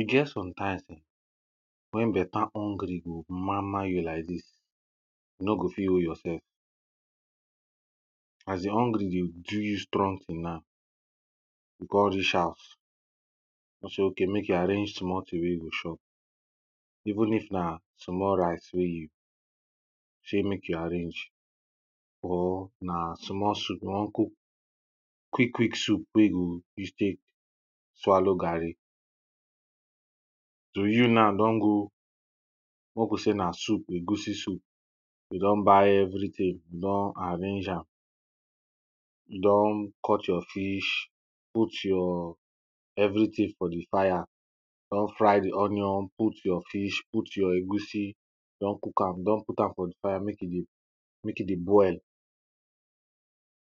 E get sometimes[um]when better hungry go mama you like dis you no go fit hold your sef. As di hungry dey do you strong thing na. You come reach house come sey ok mek you arrange small thing wey you chop even if na small rice wey you sey mek you arrange or na small soup, you wan cook quick quick soup wey you go use tek swallow garri, you now don go, mek we say na soup na egusi soup, you don buy everything, you don arrange am, you don cut your fish put your everything for di fire. You don fry di onion, put your fish, put your egusi, you don cook am, don put am for fire mek e dey boil.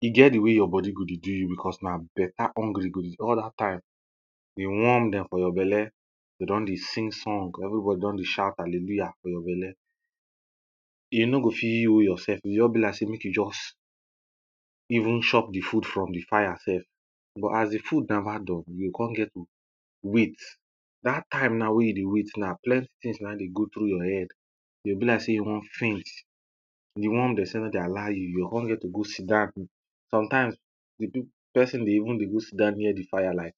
E get di way your body go dey go you becos na better hungry go dey, all dat time di worm dem for your belle dey don dey sing song everybody don dey shout hallelujah for your belle you no go fit hold yourself, e go just be like say mek you just even chop the food from di fire sef but as di food never done you go come get to wait. Dat time na wey you dey wait now plenty things na dey go through your head. E go be like sey you wan faint, di worm dey say mek dey allow you. you o come get to go sit down sometimes di pipo, person dey even dey go sit down near di fire like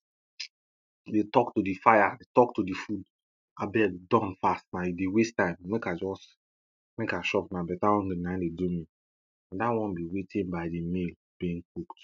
dey tok to di fire, tok to di food abeg done fast na you dey waste time mek I just, mek I chop now na better hungry na in dey do me. Na dat one be waiting by di meal being cooked.